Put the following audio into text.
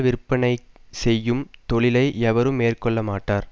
விற்பனை செய்யும் தொழிலை எவரும் மேற்கொள்ள மாட்டார்